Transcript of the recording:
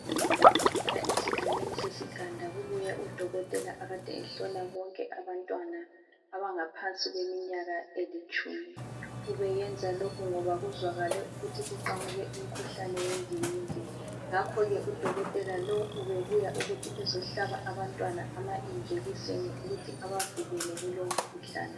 Namuhla esigabeni sesiganda kubuye udokotela okade ehlola bonke abantwana abangaphansi kweminyaka elitshumi , ubeyenza lokhu ngoba kuzwakale ukuthi kuqhamuke umkhuhlane wendingingindi , ngakho ke udokotela lo ubebuya ukuthi ezohlaba abantwana ama injekisini ukuthi abavikele kulo umkhuhlane